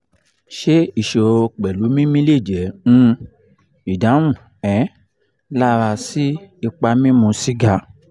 ṣé isoro pelu mimi le je um idahun um lara si ipa mimu siga